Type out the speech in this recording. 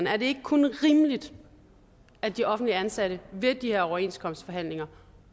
er det ikke kun rimeligt at de offentligt ansatte ved de her overenskomstforhandlinger